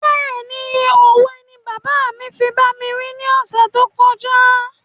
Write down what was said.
Béèni òwe ni bàbá mi fi bá mi wí ni ọ̀sẹ̀ tó kọjá